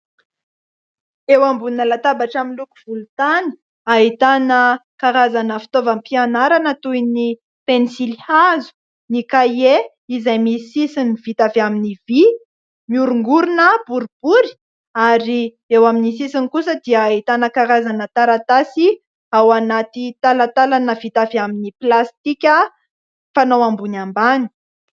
Eo ambonina latabatra miloko volontany ahitana karazana fitaovam-pianarana toy ny pensilihazo, ny kahie izay misy sisiny vita avy amin'ny vỳ miorongorona boribory ary eo amin'ny sisiny kosa dia ahitana karazana taratasy ao anaty talantalana vita avy amin'ny plastika mifanao ambony ambany.